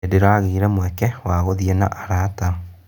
Ndĩragĩire mweke wa gũthiĩ na arata.